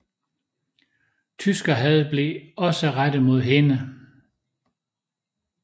Tyskerhad blev også rettet mod hende